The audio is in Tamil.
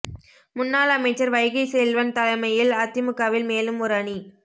முன்னாள் அமைச்சர் வைகை செல்வன் தலைமையில் அதிமுகவில் மேலும் ஒரு அணி